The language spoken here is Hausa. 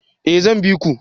Eh zan biku